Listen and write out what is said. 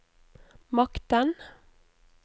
makten